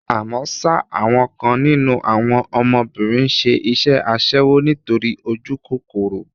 Àmọ́ ṣá, àwọn kan nínú àwọn ọmọbìnrin ń ṣe iṣẹ́ aṣẹ́wó nítorí ojúkòkòrò.